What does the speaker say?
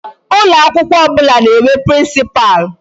Ụlọ akwụkwọ ọbụla na-enwe principal.